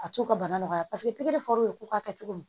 A t'u ka bana nɔgɔya paseke pikiri fɔr'o ka kɛ cogo min